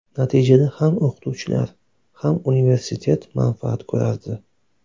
Natijada ham o‘qituvchilar, ham universitet manfaat ko‘rardi.